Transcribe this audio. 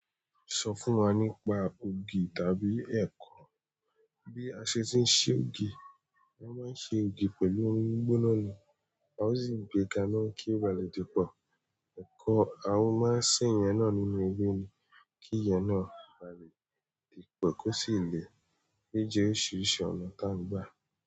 Sọ fún wa nípa ògì tàbí ẹ̀kọ. Bí a ṣe ti ń se ògì, wọ́n máa ń ṣe ògì pẹ̀lú omi gbóná ni. A ò sì gbé kànnà kí o ba lè dípọ̀. Ẹ̀kọ, a máa ń sè yẹn nínú ilẹ kí ìyẹn ba lè dípọ̀ kó sì le gbé e sí oríṣìíríṣìí ọ̀nà tá ń gbà.